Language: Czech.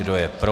Kdo je pro?